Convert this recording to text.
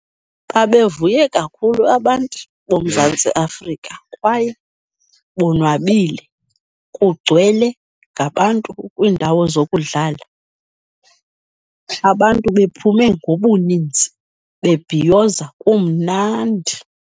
Babevuye kakhulu abantu boMzantsi Afrika kwaye bonwabile, kugcwele ngabantu kwiindawo zokudlala. Abantu bephume ngobuninzi bebhiyoza, kumnandi.